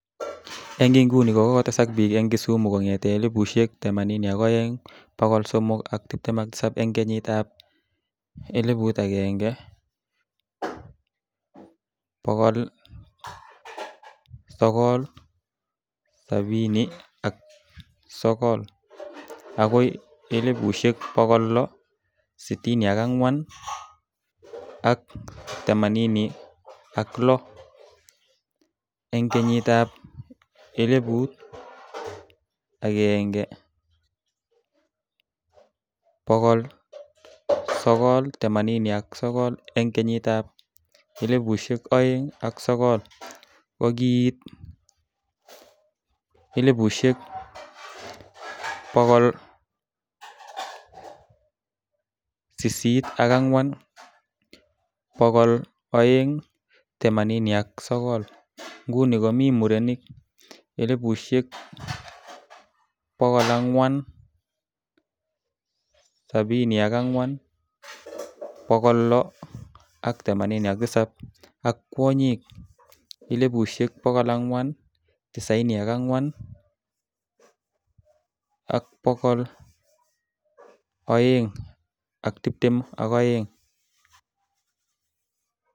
Eng inguni kokotesak biik eng Kisumu kong'ete 482,327 eng kenyit ab 1979 agoi 664,086 eng kenyit ab 1989. eng kenyit ab 2009 kokiit 804,289. nguni komii murenik 474,687 ak kwanyik 494,222.